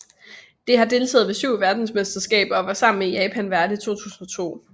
Det har deltaget ved syv verdensmesterskaber og var sammen med Japan vært i 2002